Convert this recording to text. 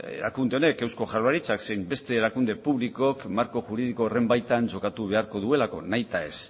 erakunde honek eusko jaurlaritzak zein beste erakunde publikoek marko juridiko horren baitan txokatu beharko duelako nahi eta ez